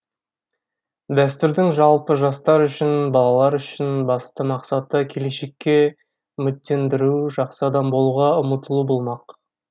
дәстүрдің жалпы жастар үшін балалар үшін басты мақсаты келешекке үміттендіру жақсы адам болуға ұмтылу болмақ